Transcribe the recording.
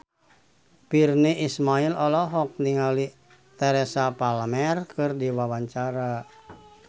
Virnie Ismail olohok ningali Teresa Palmer keur diwawancara